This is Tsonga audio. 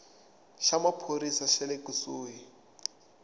xa maphorisa xa le kusuhi